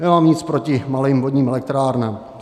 Nemám nic proti malým vodním elektrárnám.